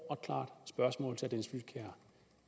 og klart spørgsmål til